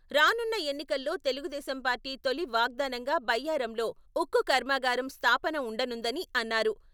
రానున్న ఎన్నికల్లో తెలుగుదేశం పార్టీ తొలి వాగ్దానంగా బయ్యారంలో ఉక్కు కర్మాగారం స్థాపన ఉండనుందని అన్నారు.